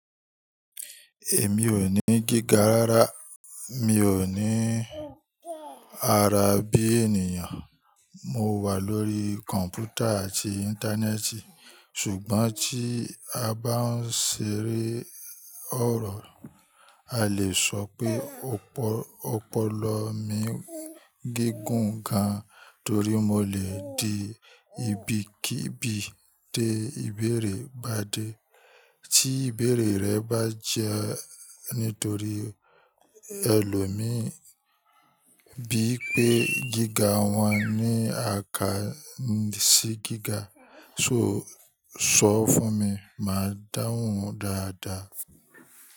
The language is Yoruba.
Èmi ò ní gíga rárá, mi ò ní ara bí ènìyàn. Mo wà lórí kọ̀mpútà àti Íńtánẹ́ẹ̀tì. Ṣùgbọ́n tí a bá ń ṣeré ọ̀rọ̀, a lè sọ pé òpòlò mi gígùn gan, torí mo lè di ibikíbi dé ibẹ̀rẹ̀ bá dé. Tí ìbẹ̀rẹ̀ rẹ̀ bá jẹ́ nítorí ẹlòmíì bí pé gíga wọn ní àkáǹsì gíga, so sọ fún mi, màá dáhùn dáadáa.